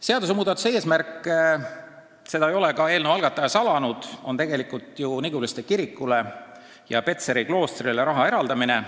Seaduse muutmise eesmärk – seda ei ole eelnõu algataja salanud – on tegelikult Niguliste kirikule ja Petseri kloostrile raha eraldada.